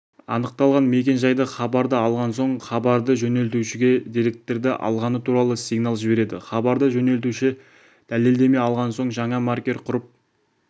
анықталған мекен-жай хабарды алған соң хабарды жөнелтушіге деректерді алғаны туралы сигнал жібереді хабарды жөнелтуші дәлелдеме алған соң жаңа маркер құрып